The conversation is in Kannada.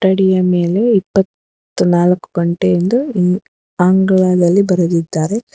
ಅಂಗಡಿಯ ಮೇಲೆ ಇಪ್ಪತ್ನಾಲ್ಕು ಗಂಟೆ ಎಂದು ಇಂಗ್ ಆಂಗ್ಲದಲಿ ಬರೆದಿದ್ದಾರೆ.